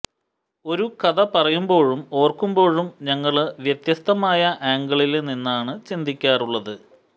ഒരു കഥ പറയുമ്പോഴും ഒരുക്കുമ്പോഴും ഞങ്ങള് വ്യത്യസ്തമായ ആംഗിളില് നിന്നാണ് ചിന്തിക്കാറുള്ളത്